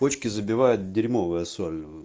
почки забивают дерьмовая соль